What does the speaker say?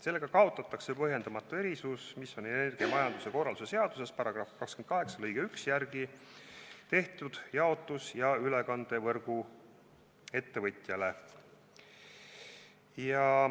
Sellega kaotatakse põhjendamatu erisus, mis on energiamajanduse korralduse seaduse § 28 lõike 1 järgi tehtud jaotus- ja ülekandevõrguettevõtjale.